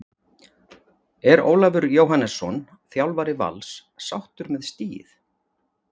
Er Ólafur Jóhannesson, þjálfari Vals, sáttur með stigið?